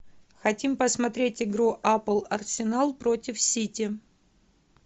хотим посмотреть игру апл арсенал против сити